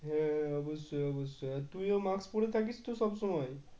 হ্যাঁ অবশ্যই অবশ্যই আর তুই ও mask পড়ে থাকিস তো সবসময়?